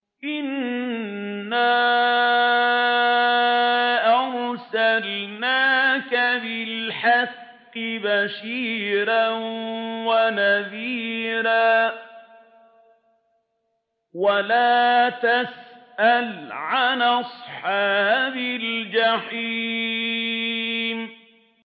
إِنَّا أَرْسَلْنَاكَ بِالْحَقِّ بَشِيرًا وَنَذِيرًا ۖ وَلَا تُسْأَلُ عَنْ أَصْحَابِ الْجَحِيمِ